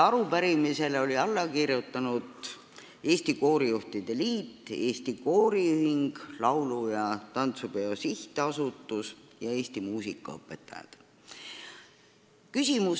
Pöördumisele olid alla kirjutanud Eesti Koorijuhtide Liit, Eesti Kooriühing, Laulu- ja Tantsupeo Sihtasutus ning Eesti Muusikaõpetajate Liit.